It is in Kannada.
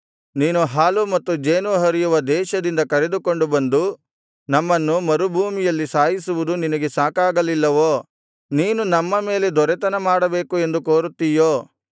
ನೀನು ಹಾಲೂ ಮತ್ತು ಜೇನೂ ಹರಿಯುವ ದೇಶದಿಂದ ಕರೆದುಕೊಂಡು ಬಂದು ನಮ್ಮನ್ನು ಮರುಭೂಮಿಯಲ್ಲಿ ಸಾಯಿಸುವುದು ನಿನಗೆ ಸಾಕಾಗಲಿಲ್ಲವೋ ನೀನು ನಮ್ಮ ಮೇಲೆ ದೊರೆತನ ಮಾಡಬೇಕು ಎಂದು ಕೋರುತ್ತಿಯೋ